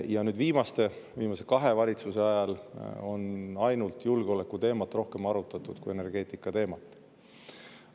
Ainult viimase kahe valitsuse ajal on arutatud julgeolekuteemat energeetikateemast rohkem.